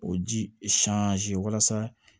O ji walasa